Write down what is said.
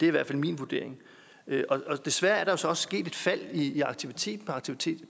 i hvert fald min vurdering desværre er der jo så også sket et fald i i aktiviteten aktiviteten